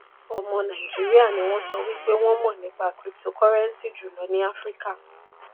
ọmọ nàìjíríà ni wọ́n sọ wípé wọ́n mọ̀ nípa cryptocurrency jùlọ ní áfíríkà.